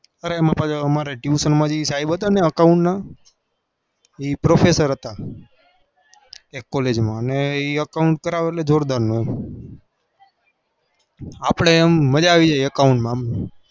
અરે એ Amar a tuition ના સાહેબ account ના એ professor હતા એ account કરાવે એટલે અપડે મજા આવી જાય